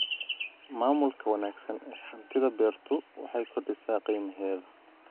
Maamulka wanaagsan ee hantida beertu waxay kordhisaa qiimaheeda.